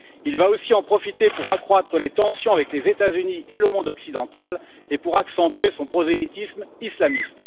Il va aussi en profiter pour accroître les tensions avec les États Unis et le monde occidental et pour accentuer son prosélytisme islamiste.